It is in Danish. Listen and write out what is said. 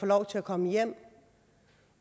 lov til at komme hjem